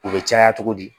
U bɛ caya cogo di